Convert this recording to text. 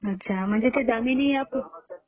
अच्छा. म्हणजे ते दामिनी ऍप?